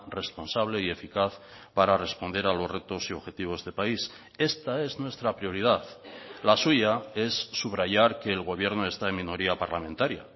responsable y eficaz para responder a los retos y objetivos de país esta es nuestra prioridad la suya es subrayar que el gobierno está en minoría parlamentaria